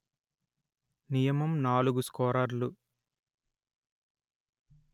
నియమం నాలుగు స్కోరర్లు